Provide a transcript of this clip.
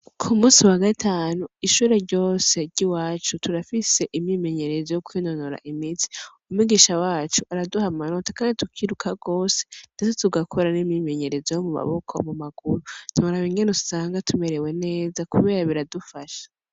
Ku kunsi wa gatanu, ishure ryose ry'iwacu, turafise imyimenyerezo yo kwinonora imitsi. Umwigisha wacu araduha amanota kandi tukirukanga gose. Ndetse tugakora n'imyimenyerezo yo mu maboko, mu maguru. Ntiworaba ingene usanga tumerewe neza kubera biradufasha.